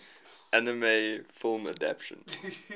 anime film adaptation